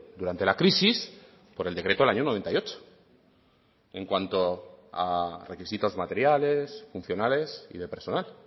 durante la crisis por el decreto del año noventa y ocho en cuanto a requisitos materiales funcionales y de personal